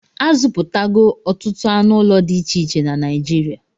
A zụpụtago ọtụtụ anụ ụlọ dị iche na Naijirịa